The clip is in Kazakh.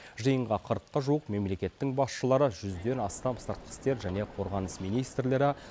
жиынға қырыққа жуық мемлекеттің басшылары жүзден астам сыртқы істер және қорғаныс министрлері